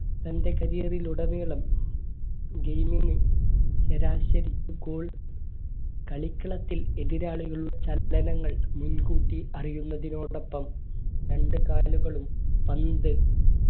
തന്റെ career ൽ ഉടനീളം game ൽ ശരാശരി goal കളിക്കളത്തിൽ എതിരാളികൾ ചലനങ്ങൾ മുൻകൂട്ടി അറിയുന്നതിനോടൊപ്പം രണ്ട് കാലുകളും പന്ത്